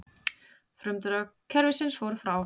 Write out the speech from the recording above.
Frumdrög kerfisins voru frá